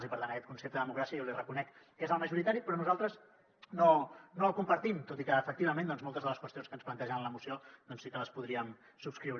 i per tant aquest concepte de democràcia jo li reconec que és el majoritari però nosaltres no el compartim tot i que efectivament moltes de les qüestions que ens plantejaven en la moció sí que les podríem subscriure